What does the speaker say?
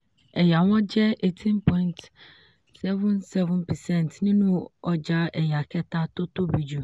ẹ̀yà wọn jẹ́ eighteen point seven seven percent nínú ọjà ẹ̀yà kẹta tó tóbi jù.